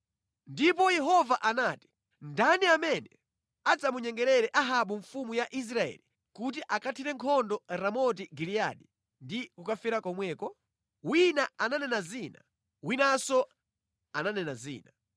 Ndipo Yehova anati, ‘Ndani amene adzamunyengerere Ahabu mfumu ya Israeli kuti akathire nkhondo Ramoti Giliyadi ndi kukafera komweko?’ “Wina ananena zina, winanso ananena zina.”